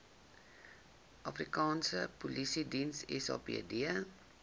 afrikaanse polisiediens sapd